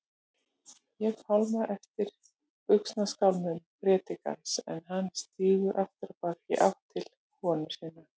Ég fálma eftir buxnaskálmum predikarans en hann stígur afturábak, í átt til konu sinnar.